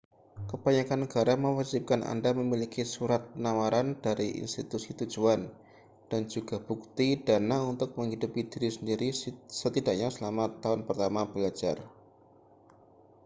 kebanyakan negara mewajibkan anda memiliki surat penawaran dari institusi tujuan dan juga bukti dana untuk menghidupi diri sendiri setidaknya selama tahun pertama belajar